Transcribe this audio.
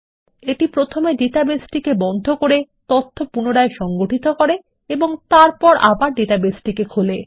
এটি প্রথমে ডেটাবেস টিকে বন্ধ করে তথ্য পুনরায় সংগঠিত করে এবং তারপর আবার ডাটাবেসটিকে খোলে